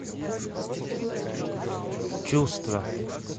чувства